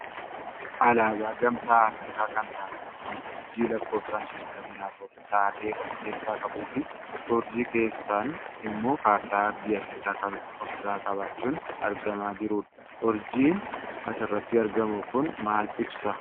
Alaabaa gamtaa Afrikaa kan taate kan urjii lakkoofsaan shatamii afur taate of irraa qabduufi uurjii keessaan ammoo kaartaa aardii Afrikaa kan ofirraa qabaachuun argaamaa jirudha. Urjiin asirratti argamu kun maal ibsa?